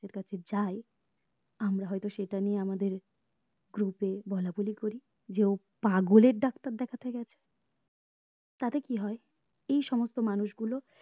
এর কাছে যাই আমরা হয়তো সেটা নিয়ে আমাদের group এ বলা বলি করি যে ও পাগল এর ডাক্তার দেখতে গেছে তাতে কি হয় এই সমস্ত মানুষ গুলো